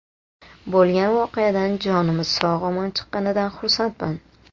Bo‘lgan voqeadan jonimiz sog‘-omon chiqqanidan xursandman.